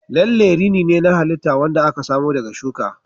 Lalle rini ne na halitta wanda aka samo daga shuka.